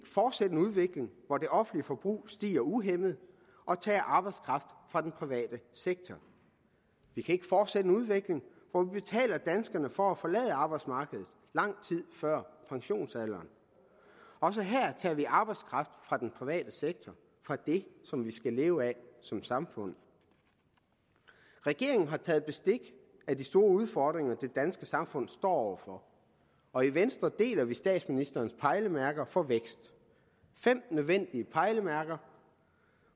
fortsætte en udvikling hvor det offentlige forbrug stiger uhæmmet og tager arbejdskraft fra den private sektor vi kan ikke fortsætte en udvikling hvor vi betaler danskerne for at forlade arbejdsmarkedet lang tid før pensionsalderen også her tager vi arbejdskraft fra den private sektor fra det som vi skal leve af som samfund regeringen har taget bestik af de store udfordring det danske samfund står over for og i venstre deler vi statsministerens pejlemærker for vækst fem nødvendige pejlemærker